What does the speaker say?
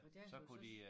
Og der kunne de så også